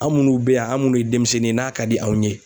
An' munnu bɛ yan an munnu ye demisɛnnin ye n'a ka di anw ye